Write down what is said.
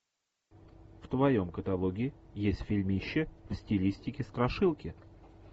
в твоем каталоге есть фильмище в стилистике страшилки